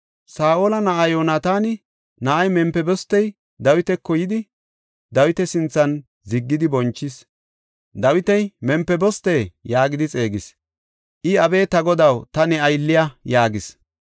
Saa7ola na7aa Yoonataana na7ay Mempibostey Dawitako yidi, Dawita sinthan ziggidi bonchis. Dawiti, “Mempiboste” yaagidi xeegis. I, “Abe ta godaw, ta ne aylliya” yaagis.